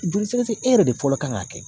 Joli sɛgɛsɛgɛ e yɛrɛ de fɔlɔ kan k'a kɛ.